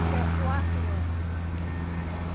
Até o quarto ano.